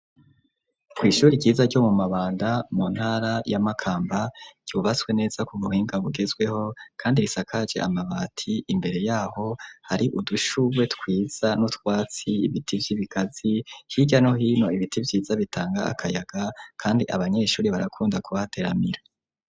Kw'ishure ryiza ryo mu mabanda mu ntara y'amakamba yubaswe neza ku buhinga bugezweho kandi risakaje amabati imbere yaho hari udushuwe twiza n'utwatsi ibiti by'ibigazi hirya no hino ibiti byiza bitanga akayaga kandi abanyeshuri barakunda kuhateramira.